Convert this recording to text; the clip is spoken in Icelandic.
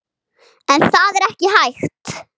En það er ekki hægt.